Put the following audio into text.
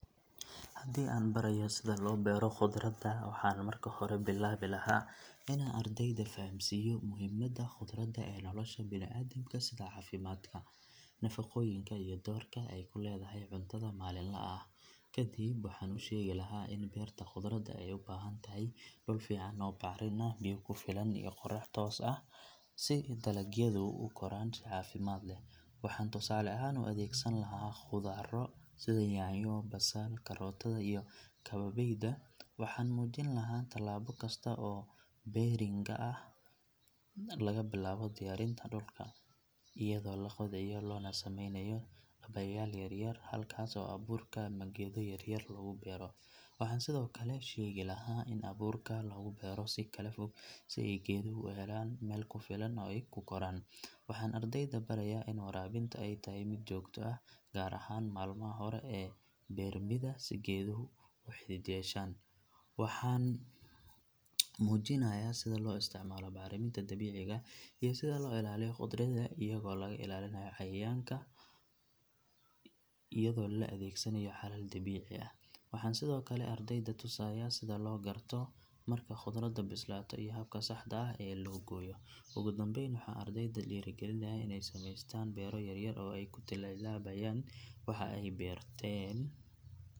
Haddii aan barayo sida loo beero khudradda waxaan marka hore billaabi lahaa inaan ardayda fahamsiiyo muhiimadda khudradda ee nolosha bani'aadamka sida caafimaadka, nafaqooyinka iyo doorka ay ku leedahay cuntada maalinlaha ah. Kadib waxaan u sheegi lahaa in beerta khudradda ay u baahan tahay dhul fiican oo bacrin ah, biyo ku filan iyo qorrax toos ah si dalagyadu u koraan si caafimaad leh. Waxaan tusaale ahaan u adeegsan lahaa khudarro sida yaanyo, basal, karootada iyo kabeebeyda. Waxaan muujin lahaa talaabo kasta oo beeringa ah laga bilaabo diyaarinta dhulka iyadoo la qodayo loona sameynayo dhabbayaal yar yar halkaas oo abuurka ama geedo yaryar lagu beero. Waxaan sidoo kale sheegi lahaa in abuurka lagu beero si kala fog si ay geeduhu u helaan meel ku filan oo ay ku koraan. Waxaan ardayda barayaa in waraabinta ay tahay mid joogto ah gaar ahaan maalmaha hore ee beermidda si geeduhu u xidid yeeshaan. Waxaan muujinayaa sida loo isticmaalo bacriminta dabiiciga ah iyo sida loo ilaaliyo khudradda iyadoo laga ilaalinayo cayayaanka iyadoo la adeegsanayo xalal dabiici ah. Waxaan sidoo kale ardayda tusayaa sida loo garto marka khudradda bislaato iyo habka saxda ah ee loo gooyo. Ugu dambeyn waxaan ardayda dhiirrigelinayaa inay sameystaan beero yaryar oo ay ku tijaabiyaan waxa ay barteen.